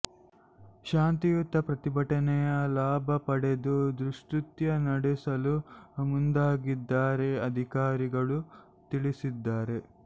ಶಾಂತಿಯುತ ಪ್ರತಿಭಟನೆಯ ಲಾಭ ಪಡೆದು ದುಷ್ಕೃತ್ಯ ನಡೆಸಲು ಮುಂದಾಗಿದ್ದಾರೆ ಅಧಿಕಾರಿಗಳು ತಿಳಿಸಿದ್ದಾರೆ